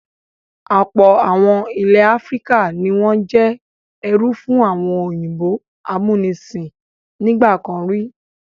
Ọ̀pọ̀ àwọn ilẹ̀ Áfíríkà ni wọ́n jẹ́ ẹrú fún àwọn òyìnbó amúnisìn nígbà kan rí.